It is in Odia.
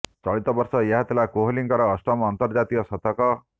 ଚଳିତ ବର୍ଷ ଏହା ଥିଲା କୋହଲିଙ୍କର ଅଷ୍ଟମ ଅନ୍ତର୍ଜାତୀୟ ଶତକ